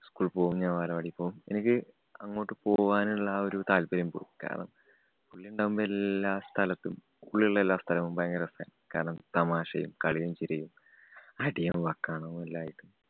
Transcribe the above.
school ല്‍ പോവും. ഞാന്‍ ബാലവാടി പോവും. എനിക്ക് അങ്ങോട്ട്‌ പോകാനുള്ള ആ ഒരു താല്പര്യം പോയി. കാരണം, പുള്ളി ഉണ്ടാവുമ്പം എല്ലാ സ്ഥലത്തും പുള്ളി ഉള്ള എല്ലാ സ്ഥലവും ഭയങ്കര രസാണ്. കാരണം തമാശയും കളിയും ചിരിയും അടിയും വക്കാണവുമെല്ലാമായിട്ട്